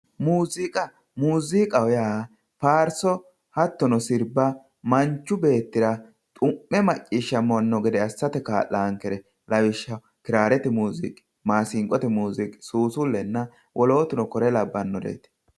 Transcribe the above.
muuziiqa, muuziiqaho yaa faarso hattono sirba manchi beettira xu'me macciishshamanno assate kaa'laankere lawishshaho kiraarete muuziiqi maasinqote muuziiqi suusullenna wolootuno kore labbannoreeti.